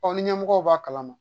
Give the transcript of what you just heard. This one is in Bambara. Ɔ ni ɲɛmɔgɔw b'a kalama